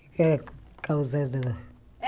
É a causa dela.